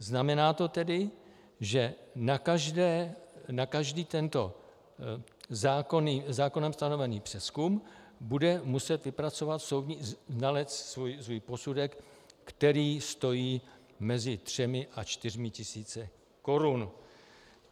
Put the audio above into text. Znamená to tedy, že na každý tento zákonem stanovený přezkum bude muset vypracovat soudní znalec svůj posudek, který stojí mezi třemi a čtyřmi tisíci korun.